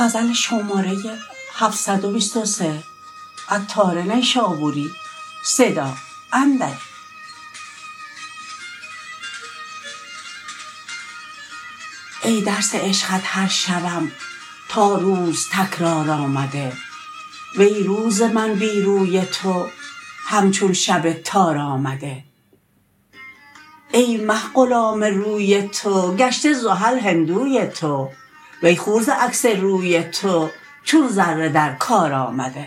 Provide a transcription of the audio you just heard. ای درس عشقت هر شبم تا روز تکرار آمده وی روز من بی روی تو همچون شب تار آمده ای مه غلام روی تو گشته زحل هندوی تو وی خور ز عکس روی تو چون ذره در کار آمده